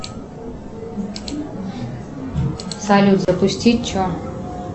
салют запусти че